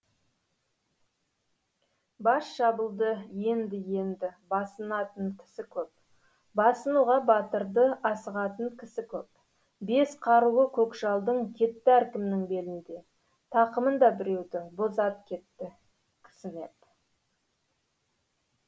бас шабылды енді енді басынатын кісі көп басынуға батырды асығатын кісі көп бес қаруы көкжалдың кетті әркімнің белінде тақымында біреудің боз ат кетті кісінеп